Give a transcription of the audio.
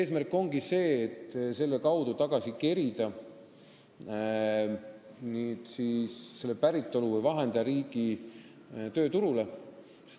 Eesmärk ongi see, et selle abil "tagasi kerida" päritolu- või vahendajariigi tööturule.